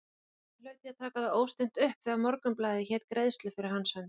Hann hlaut því að taka það óstinnt upp, þegar Morgunblaðið hét greiðslu fyrir hans hönd!